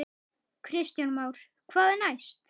Kristján Már: Hvað næst?